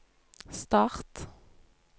start